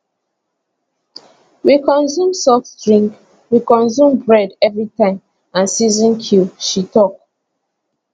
we consume soft drink we consume bread everi time and season cube she tok